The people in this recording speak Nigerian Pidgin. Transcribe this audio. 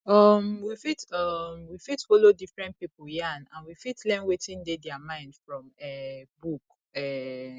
um we fit um we fit follow different pipo yarn and we fit learn wetin dey their mind from um book um